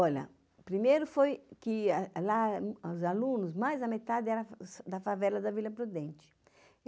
Olha, o primeiro foi que lá, os alunos, mais da metade era da favela da Vila Prudente.